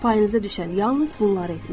Payınıza düşən yalnız bunları etməkdir.